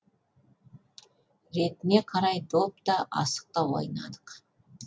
ретіне қарай доп та асық та ойнадық